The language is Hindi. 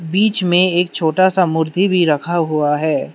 बीच में एक छोटा सा मूर्ति भी रखा हुआ है।